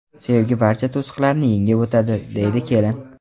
Sevgi barcha to‘siqlarni yengib o‘tadi”, deydi kelin.